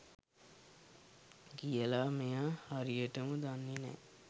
කියලා මෙයා හරියටම දන්නේ නෑ.